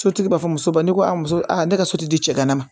Sotigi b'a fɔ muso ba ni ko a muso a ne ka so di cɛ ka na